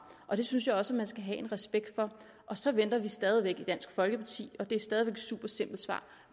og det synes jeg også man skal have respekt for og så venter vi stadigvæk i dansk folkeparti og det er stadig væk et super simpelt svar